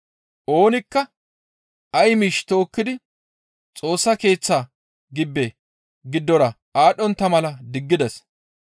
Oonikka ay miish tookkidi Xoossa Keeththa gibbe giddora aadhdhontta mala diggides.